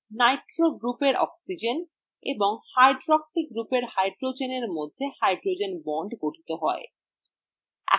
nitro groupএর oxygen এবং hydroxy গ্রুপের hydrogen এর মধ্যে hydrogen bond গঠিত হয়